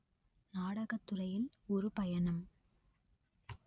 நாடகத் துறையில் ஒரு பயணம்